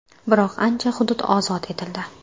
Biroq ancha hudud ozod etildi.